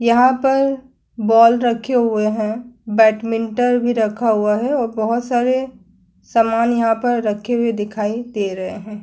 यहाँ पर बॉल रखे हुए हैं। बेडमिंटन भी रखा हुआ है और बोहोत सारे सामान यहाँ पर रखे हुए दिखाई दे रहे हैं।